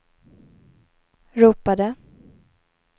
ropade